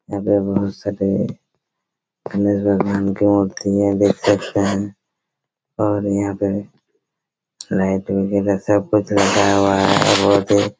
यहाँ पे बहुत सारे गणेश भगवान के मूर्ति हैं देख सकते हैं और यहाँ पे लाइट वगेरा सब कुछ लगा हुआ हैं और बहुत ही--